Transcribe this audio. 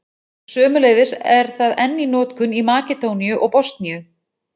Sömuleiðis er það enn í notkun í Makedóníu og Bosníu.